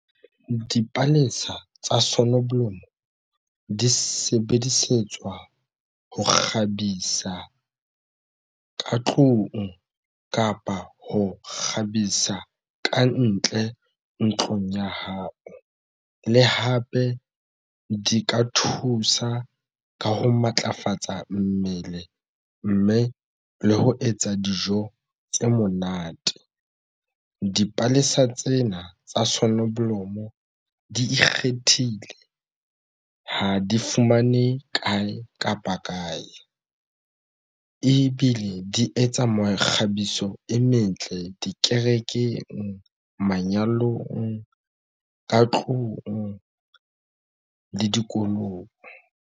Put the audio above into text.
Dipalesa tsa soneblomo di sebedisetswa ho kgabisa ka tlung kapa ho kgabisa kantle ntlong ya hao le hape di ka thusa ka ho matlafatsa mmele mme le ho etsa dijo tse monate. Dipalesa tsena tsa sonoblomo di ikgethile ha di fumane kae kapa kae ebile di etsa mekgabiso e metle dikerekeng manyalong ka tlung le dikolong.